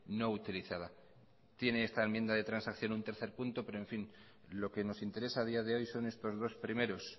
no utilizada tiene esta enmienda de transacción un tercer punto pero en fin lo que nos interesa a día de hoy son estos dos primeros